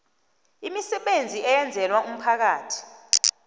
imisebenzi eyenzelwa umphakathi